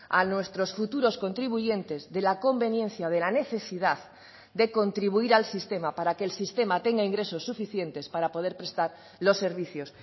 a nuestros futuros contribuyentes de la conveniencia de la necesidad de contribuir al sistema para que el sistema tenga ingresos suficientes para poder prestar los servicios